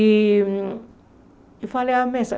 E eu falei, a mesa.